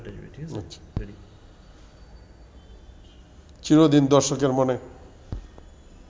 চিরদিন দর্শকের মনে